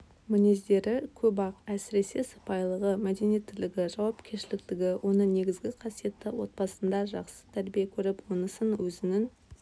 мінездері көп-ақ әсіресе сыпайылығы мәдениеттілігі жауапкершіліктілігі оның негізгі қасиеті отбасында жақсы тәрбие көріп онысын өзінің